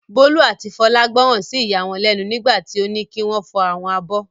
Bólú àti Fọlá gbọ́ràn sí ìyá wọn lẹ́nu nígbà tí ó ní kí wọ́n fọ àwọn abọ́.